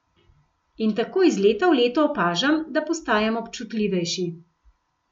In tako iz leta v leto opažam, da postajam občutljivejši.